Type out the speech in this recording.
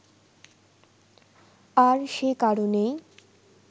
আর সে কারণেই